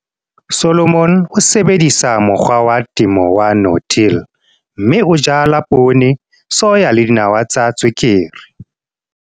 Solomon o sebedisa mokgwa wa temo wa no-till, mme o jala poone, soya le dinawa tsa tswekere.